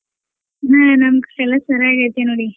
ಹ್ಮ್ ನಮ್ ಕಡೆ ಎಲ್ಲ ಚನಾಗೈತಿ ನೋಡಿ.